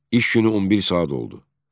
İş günü 11 saat oldu.